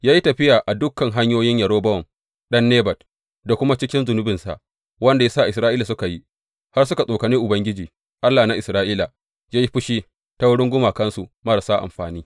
Ya yi tafiya a dukan hanyoyin Yerobowam ɗan Nebat da kuma cikin zunubinsa wanda ya sa Isra’ila suka yi, har suka tsokane Ubangiji, Allah na Isra’ila yă yi fushi ta wurin gumakansu marasa amfani.